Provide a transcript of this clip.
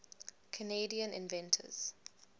canadian inventors